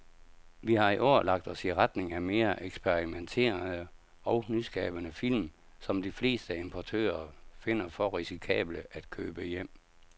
Vi har i år lagt os i retning af mere eksperimenterede og nyskabende film, som de fleste importører finder for risikable at købe hjem.